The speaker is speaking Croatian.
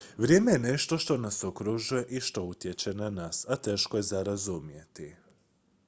vrijeme je nešto što nas okružuje i što utječe na nas a teško je za razumjeti